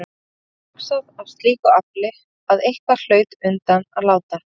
Það var hugsað af slíku afli að eitthvað hlaut undan að láta.